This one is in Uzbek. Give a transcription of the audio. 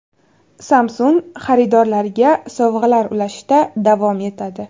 Samsung xaridorlariga sovg‘alar ulashishda davom etadi.